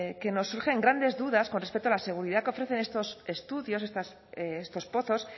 que nos surgen grandes dudas con respecto a la seguridad que ofrecen estos estudios estos pozos